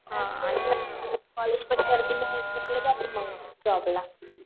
हां मग कॉलेजपण करती मग तिथून पुढं जाती जॉबला.